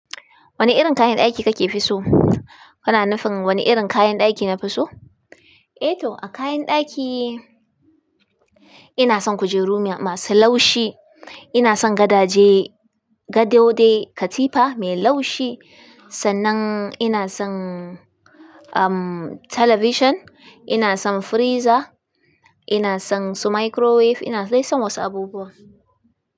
Wani irin kayan ɗaki kake fi so? Kana nufin wani irin kayan ɗaki na fi so? Eh to a kayan ɗaki ina son kujeru masu laushi, ina son gadaje, gado dai katifa mai laushi. Sannan ina son, um, talabijin, ina son friza, ina son su microwave, ina dai son wasu abubuwa.